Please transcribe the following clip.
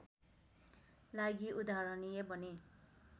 लागि उदाहरणीय बने